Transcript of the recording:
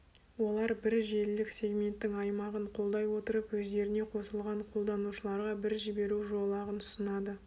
олар бір желілік сегменттің аймағын қолдай отырып өздеріне қосылған қолданушыларға бір жіберу жолағын ұсынады